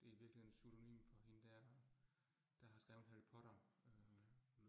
Det i virkeligheden pseudonym for hende dér, der har skrevet Harry Potter øh